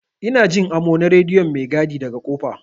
Ina Jin amo na rediyon maigadi daga kofa.